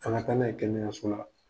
Kana taa na ye kɛnɛyaso la.